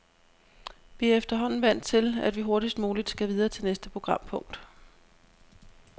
Vi er efterhånden vant til, at vi hurtigst muligt skal videre til næste programpunkt.